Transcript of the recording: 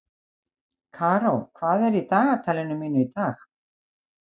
Karó, hvað er í dagatalinu mínu í dag?